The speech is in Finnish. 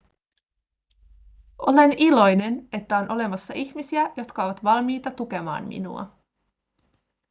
olen iloinen että on olemassa ihmisiä jotka ovat valmiita tukemaan minua